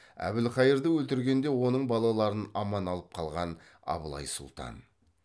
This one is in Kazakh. әбілқайырды өлтіргенде оның балаларын аман алып қалған абылай сұлтан